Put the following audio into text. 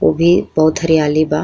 ओभी बहुत हरियाली बा।